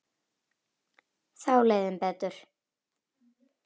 Þá leið þeim betur